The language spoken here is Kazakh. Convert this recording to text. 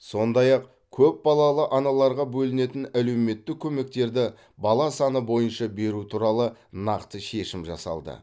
сондай ақ көпбалалы аналарға бөлінетін әлеуметтік көмектерді бала саны бойынша беру туралы нақты шешім жасалды